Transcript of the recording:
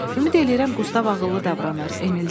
Ümid eləyirəm Qustav ağıllı davranır, Emil dedi.